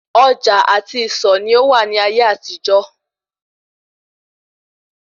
Ọjà àti ìsọ̀ ni ó wà ní ayé àtijó